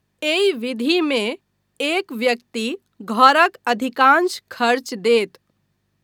एहि विधिमे एक व्यक्ति घरक अधिकांश खर्च देत।